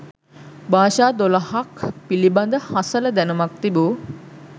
භාෂා දොළහක් පිළිබඳ හසල දැනුමක් තිබු